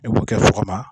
I b'u kɛ sɔgɔma